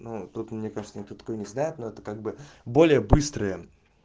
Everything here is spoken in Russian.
ну тут мне кажется никто такое не знает но это как бы более быстрые